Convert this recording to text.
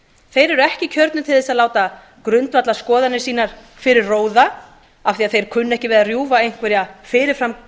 eru ekki kjörnir til að láta grundvallarskoðanir sínar fyrir róða af því að þeir kunni ekki við að rjúfa einhverja fyrir fram